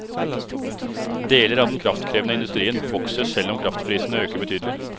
Deler av den kraftkrevende industrien vokser selv om kraftprisene øker betydelig.